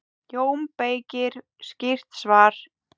JÓN BEYKIR: Skýrt svar!